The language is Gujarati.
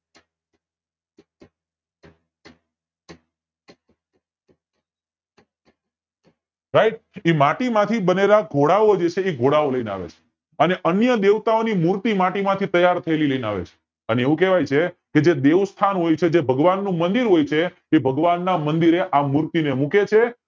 સાહેબ એ માટી માંથી બનેલા જે ઘોડાઓ જે છે એ ઘોડાઓ લય ને આવે છે અને અન્ય દેવતાઓ ની મૂર્તિ માટી માંથી તૈયાર થયેલી લય ને આવે છે અને એવું કેવાય છે જે દેવ સ્થાન હોય છે જે ભગવાનનું મંદિર હોય છે એ ભગવાન ના મંદિરે આ મૂર્તિ ને મૂકે છે